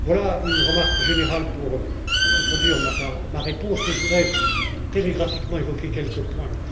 Voilà une remarque générale pour introduire ma réponse, mais je voudrais, télégraphiquement, évoquer quelques points.